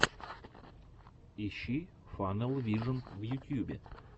ищи фанэл вижен в ютьюбе